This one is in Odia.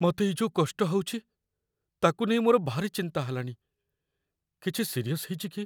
ମତେ ଏଇ ଯୋଉ କଷ୍ଟ ହଉଚି, ତା'କୁ ନେଇ ମୋର ଭାରି ଚିନ୍ତା ହେଲାଣି । କିଛି ସିରିୟସ୍ ହେଇଚି କି?